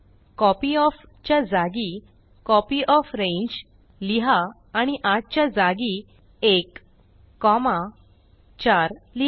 कॉपयॉफ च्या जागी कॉपियोफ्रेंज लिहा आणि 8 च्या जागी 1 कॉमा 4 लिहा